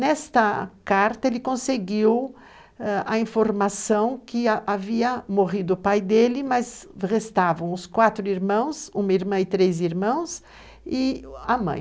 Nesta carta, ele conseguiu ãh, a informação que havia morrido o pai dele, mas restavam os quatro irmãos, uma irmã e três irmãos, e a mãe.